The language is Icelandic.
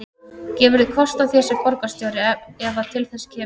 Gefurðu kost á þér sem borgarstjóri ef að til þess kemur?